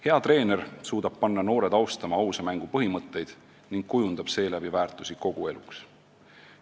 Hea treener suudab panna noored ausa mängu põhimõtteid austama ning kujundab seeläbi väärtusi kogu eluks.